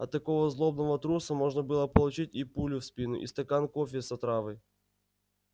от такого злобного труса можно было получить и пулю в спину и стакан кофе с отравой